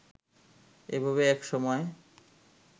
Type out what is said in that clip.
এভাবেই এক সময়